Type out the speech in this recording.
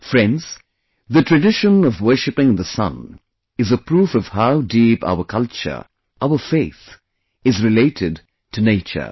Friends, the tradition of worshiping the Sun is a proof of how deep our culture, our faith, is related to nature